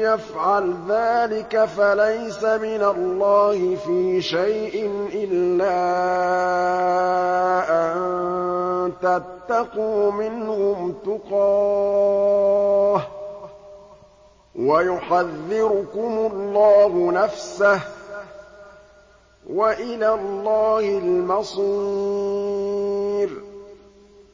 يَفْعَلْ ذَٰلِكَ فَلَيْسَ مِنَ اللَّهِ فِي شَيْءٍ إِلَّا أَن تَتَّقُوا مِنْهُمْ تُقَاةً ۗ وَيُحَذِّرُكُمُ اللَّهُ نَفْسَهُ ۗ وَإِلَى اللَّهِ الْمَصِيرُ